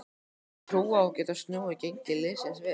Hefurðu trú á að geta snúið gengi liðsins við?